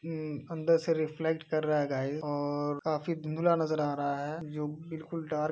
हम्म अन्दर से रिफ्लेक्ट कर रहा है गाइस और काफी धुंधला नजर आ रहा है जो बिलकुल डार्क --